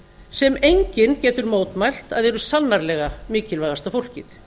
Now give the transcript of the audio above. sem enginn getur mótmælt að eru sannarlega mikilvægasta fólkið